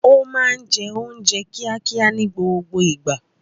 Ó máa ń jẹ oúnjẹ kíákíá ní gbogbo ìgbà